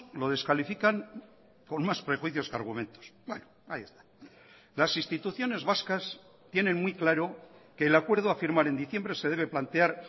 lo descalifican con más prejuicios que argumentos las instituciones vascas tienen muy claro que el acuerdo a firmar en diciembre se debe plantear